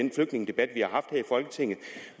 folketinget